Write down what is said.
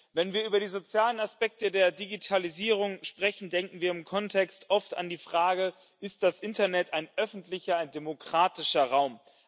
Wenn wir über die sozialen Aspekte der Digitalisierung sprechen, denken wir im Kontext oft an die Frage Ist das Internet ein öffentlicher demokratischer Raum?